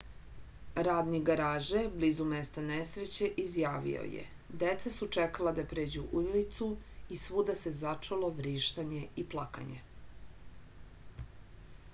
radnik garaže blizu mesta nesreće izjavio je deca su čekala da pređu ulicu i svuda se začulo vrištanje i plakanje